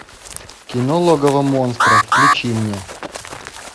кино логово монстра включи мне